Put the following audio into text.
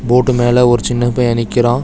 போட்டு மேல ஒரு சின்ன பைய நிக்கிறா.